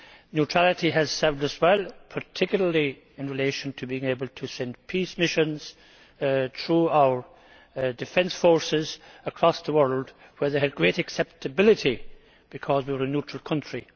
Neutrality has served us well, particularly in relation to being able to send peace missions, through our defence forces, across the world, where they have had great acceptability because we were a neutral country.